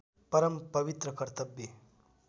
परम पवित्र कर्तव्य